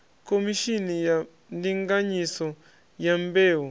khomishini ya ndinganyiso ya mbeu